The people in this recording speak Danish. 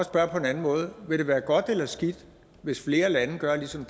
spørge på en anden måde vil det være godt eller skidt hvis flere lande gør ligesom